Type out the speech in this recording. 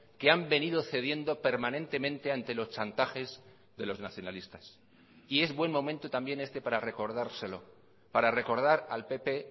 que han venido cediendo permanentemente ante los chantajes de los nacionalistas y es buen momento también este para recordárselo para recordar al pp